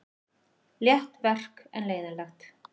Létt verk en leiðinlegt.